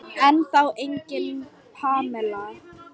Ennþá engin Pamela.